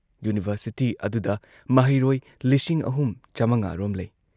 University ꯑꯗꯨꯗ ꯃꯍꯩꯔꯣꯏ ꯂꯤꯁꯤꯡ ꯑꯍꯨꯝ ꯆꯥꯃꯉꯥꯔꯣꯝ ꯂꯩ ꯫